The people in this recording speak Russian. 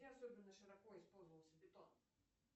где особенно широко использовался бетон